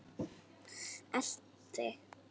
Elt þig?